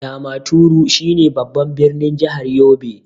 Damaturu shine babban ɓirnin jahar yobe.